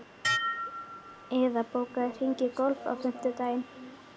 Iða, bókaðu hring í golf á fimmtudaginn.